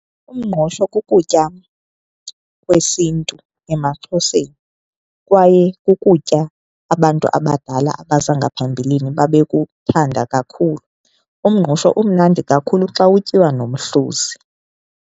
Umngqusho kukutya kwesiNtu emaXhoseni kwaye kukutya abantu abadala abaza ngaphambilini ababekuthanda kakhulu. Umngqusho umnandi kakhulu xa utyiwa nomhluzi.